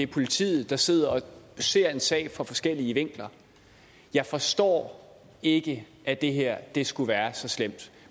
politiet der sidder og ser en sag fra forskellige vinkler jeg forstår ikke at det her skulle være så slemt